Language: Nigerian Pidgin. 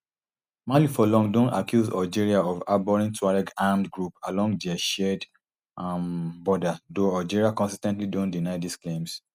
mali for long don accuse algeria of harbouring tuareg armed groups along dia shared um border though algeria consis ten tly don deny dis claims